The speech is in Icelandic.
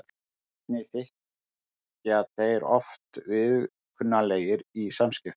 Einnig þykja þeir oft viðkunnanlegir í samskiptum.